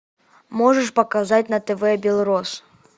можешь показать на тв белрос